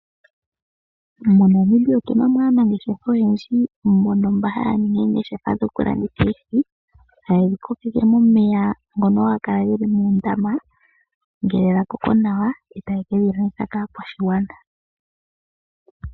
MoNamibia otuna mo aanangeshefa oyendji mbono mba haya ningi oongeshefa dhokulanditha oohi. Haye dhi kokeke momeya ngono haga kala mondama ngele dha koko nawa, e taye kedhi landitha kaakwashigwana.